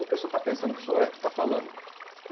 O que o senhor está pensando que o senhor é que está falando?